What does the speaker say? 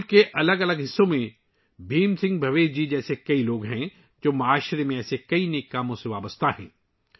ملک کے مختلف حصوں میں بھیم سنگھ بھاویش جی جیسے بہت سے لوگ ہیں، جو سماج میں ایسے بہت سے نیک کاموں میں لگے ہوئے ہیں